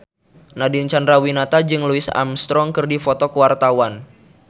Nadine Chandrawinata jeung Louis Armstrong keur dipoto ku wartawan